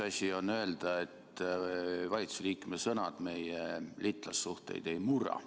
Üks asi on öelda, et valitsuse liikme sõnad meie liitlassuhteid ei murra.